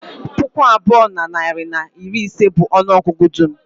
Puku abụọ na narị na iri ise bụ ọnụ ọgụgụ dum